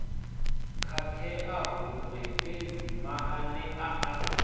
khakhea huṅwe fhedzi maanea a